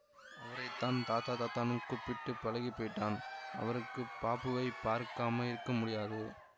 அவரைத்தான் தாதா தாதான்னு கூப்பிட்டுப் பழகிப்போயிட்டான் அவருக்கு பாபுவைப் பார்க்காம இருக்க முடியாது